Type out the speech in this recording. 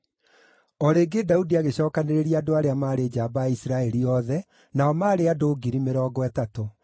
O rĩngĩ, Daudi agĩcookanĩrĩria andũ arĩa maarĩ njamba a Isiraeli othe, nao maarĩ ngiri mĩrongo ĩtatũ.